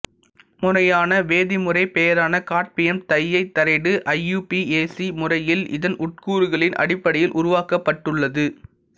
முறையான வேதிமுறைப் பெயரான காட்மியம் டையைதரைடு ஐயுபிஏசி முறையில் இதன் உட்கூறுகளின் அடிப்படையில் உருவாக்கப்பட்டுள்ளது